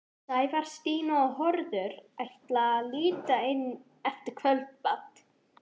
Sævar, Stína og Hörður ætla að líta inn eftir kvöldmat.